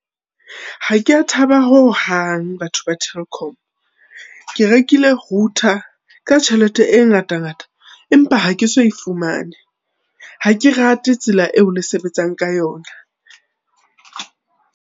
Ha ke ya thaba ho hang batho ba Telkom, ke rekile router ka tjhelete e ngata ngata, empa ha ke so e fumane, ha ke rate tsela eo le sebetsang ka yona.